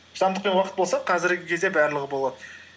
шыдамдық пен уақыт болса қазіргі кезде барлығы болады